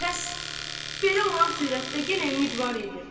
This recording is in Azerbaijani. Pəs belə olan surətdə yenə ümid var idi.